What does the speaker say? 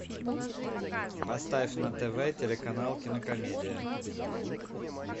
поставь на тв телеканал кинокомедия